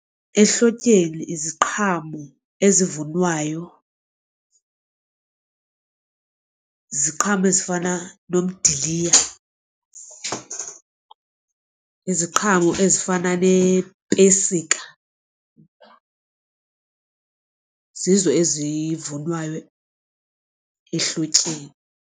Ehlotyeni iziqhamo ezivunwayo ziqhamo ezifana nomdiliya iziqhamo ezifana neepesika zizo ezivunwayo ehlotyeni.